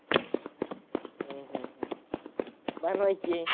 हम्म हम्म हम्म बनवायची.